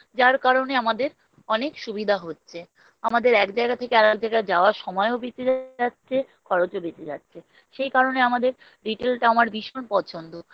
যার কারণে আমাদের অনেক সুবিধা হচ্ছে আমাদের এক জায়গা থেকে আর এক জায়গায় যাবার সময়ও বেঁচে যাচ্ছে খরচও বেঁচে যাচ্ছে সেই কারণে আমাদের retail টা আমার ভীষণ পছন্দ